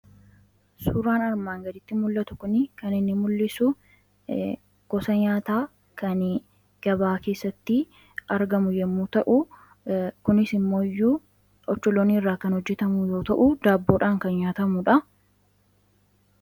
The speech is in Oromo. suuraan armaan gaditti mul'atu kun kan inni mul'isu gosa nyaataa kan gabaa keessatti argamu yommuu ta kunis immooyyuu ocholoonii irraa kan hojjetamu yoo ta'uu daaboodhaan kan nyaatamuudha